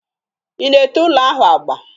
Ị na-ete ụlọ ahụ agba?